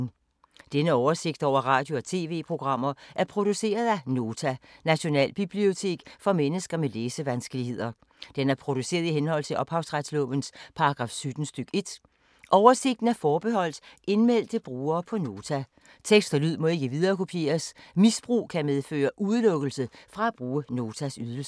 Denne oversigt over radio og TV-programmer er produceret af Nota, Nationalbibliotek for mennesker med læsevanskeligheder. Den er produceret i henhold til ophavsretslovens paragraf 17 stk. 1. Oversigten er forbeholdt indmeldte brugere på Nota. Tekst og lyd må ikke viderekopieres. Misbrug kan medføre udelukkelse fra at bruge Notas ydelser.